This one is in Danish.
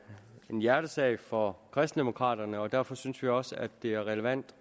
en hjertesag for kristendemokraterne og derfor synes vi også at det er relevant